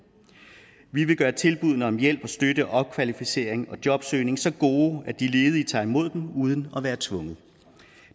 vi vil gøre tilbuddene om hjælp og støtte opkvalificering og jobsøgning så gode at de ledige tager imod dem uden at være tvunget